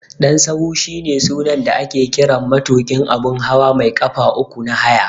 Dan sahu shine sunan da ake kiran matuƙin abun hawa mai ƙafa uku na haya.